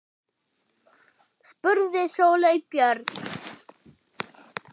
spurði Sóley Björk.